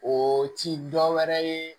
O ti dɔ wɛrɛ ye